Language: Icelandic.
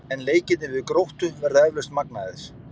En leikirnir við Gróttu verða eflaust magnaðir.